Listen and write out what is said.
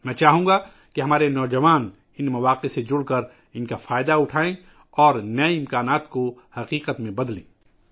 میں چاہوں گا کہ ہمارے نوجوان ، ان مواقع میں شامل ہوں اور ان سے فائدہ اٹھائیں اور نئے امکانات کو حقیقت شکل دیں